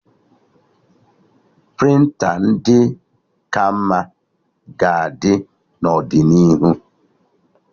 Prịnta ndị ka mma ga-adị n'ọdịnihu